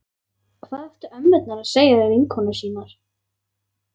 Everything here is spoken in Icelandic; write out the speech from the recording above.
Hvað áttu ömmurnar að segja við vinkonur sínar?